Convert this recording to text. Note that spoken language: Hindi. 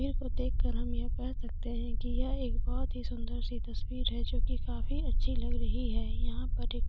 तस्वीर को देख कर हम यह कह सकते है की यह एक बोत ही सुंदर सी तस्वीर है जो की काफी अच्छी लग रही है यहाँ पर एक--